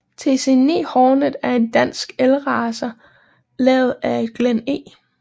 TC9 Hornet er en dansk elracer lavet af Glenn E